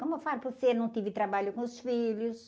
Como eu falo para você, não tive trabalho com os filhos.